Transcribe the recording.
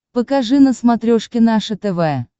покажи на смотрешке наше тв